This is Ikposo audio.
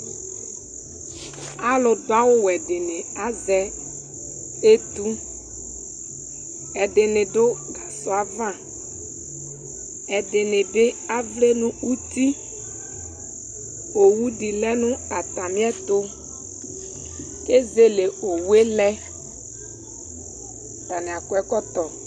Alu du awuwɛ dini aʒɛ etu Ɛdini du gasɔava ɛdinibi avlɛɛ nu uti owudi lɛ nu atamiɛtu keʒele owue lɛ Atani akɔ ɛkɔtɔ